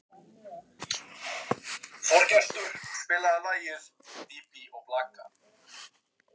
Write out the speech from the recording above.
Arnald, hvaða stoppistöð er næst mér?